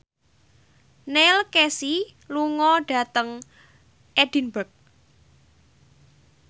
Neil Casey lunga dhateng Edinburgh